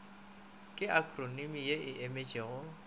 ke akhronimi ye e emetšego